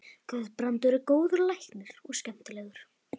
Guðbrandur er góður læknir og skemmtilegur.